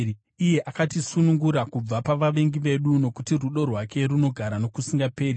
uye akatisunungura kubva pavavengi vedu, Nokuti rudo rwake runogara nokusingaperi.